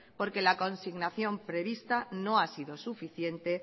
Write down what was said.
porque la consignación prevista no ha sido suficiente